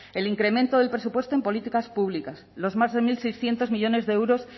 el incremento del presupuesto en políticas públicas los más de mil seiscientos millónes de euros